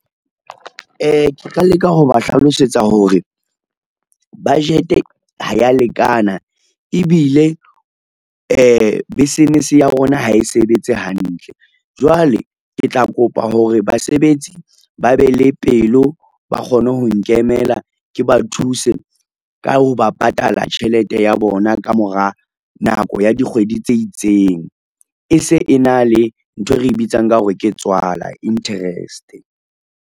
Ke tla leka ho ba hlalosetsa hore, budget ha ya lekana ebile business ya rona ha e sebetse hantle, jwale ke tla kopa hore basebetsi ba be le pelo ba kgone ho nkemela ke ba thuse ka ho ba patala tjhelete ya bona ka mora nako ya dikgwedi tse itseng, e se e na le nthwe re bitsang ka hore ke tswala, interest.